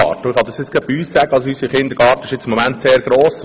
Bei uns zum Beispiel ist der Kindergarten im Moment sehr gross.